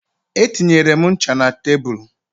Etinyere m ncha na tebụl